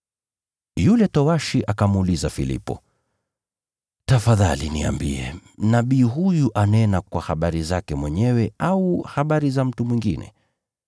Yule towashi akamuuliza Filipo, “Tafadhali niambie, nabii huyu anena habari zake mwenyewe au habari za mtu mwingine?”